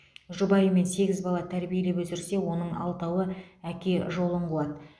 жұбайымен сегіз бала тәрбиелеп өсірсе оның алтауы әке жолын қуады